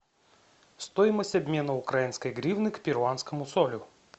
стоимость обмена украинской гривны к перуанскому солю